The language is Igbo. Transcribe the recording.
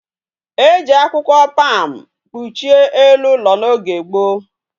E ji akwukwo palm kpuchie elu ulo na oge gboo